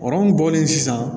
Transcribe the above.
bɔlen sisan